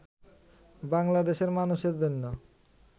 বাংলাদেশের মানুষের জন্য